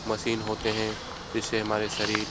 machine होते हैं जिससे हमारे शरीर --